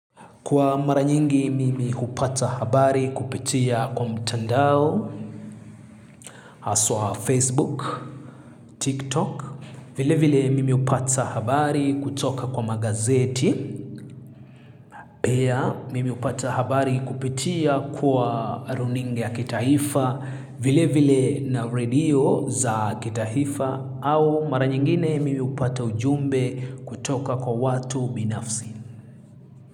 Kwa mara nyingi mimi hupata habari kupitia kwa mtandao, haswa Facebook, TikTok. Vile vile mimi hupata habari kutoka kwa magazeti. Pia mimi hupata habari kupitia kwa runinga ya kitaifa vile vile na radio za kitaifa au mara nyingine mimi hupata ujumbe kutoka kwa watu binafsi.